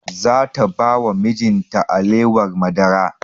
Za ta ba wa mijin ta alewar madara